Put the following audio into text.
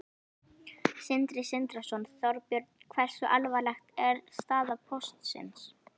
Sindri Sindrason: Þorbjörn, hversu alvarleg er staða Póstsins?